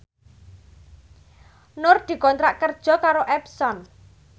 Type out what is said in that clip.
Nur dikontrak kerja karo Epson